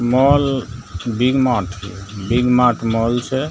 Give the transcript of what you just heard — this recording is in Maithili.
mall big mart big mart mall छै |